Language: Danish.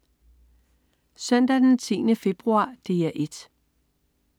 Søndag den 10. februar - DR 1: